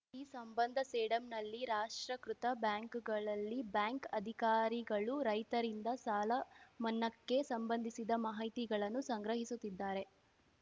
ಈ ಸಂಬಂಧ ಸೇಡಂನಲ್ಲಿ ರಾಷ್ಟ್ರಕೃತ ಬ್ಯಾಂಕ್‌ಗಳಲ್ಲಿ ಬ್ಯಾಂಕ್‌ ಅಧಿಕಾರಿಗಳು ರೈತರಿಂದ ಸಾಲಮನ್ನಾಕ್ಕೆ ಸಂಬಂಧಿಸಿದ ಮಾಹಿತಿಗಳನ್ನು ಸಂಗ್ರಹಿಸುತ್ತಿದ್ದಾರೆ